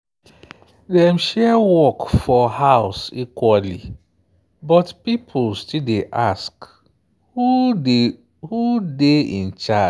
dem share work for house equally but people still dey ask who dey who dey in charge.